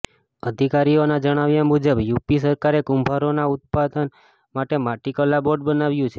અધિકારીઓના જણાવ્યા મુજબ યુપી સરકારે કુંભારોના ઉત્થાન માટે માટીકલા બોર્ડ બનાવ્યું છે